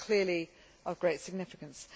That is clearly of great significance.